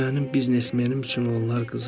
Mənim biznesmenim üçün onlar qızıldır.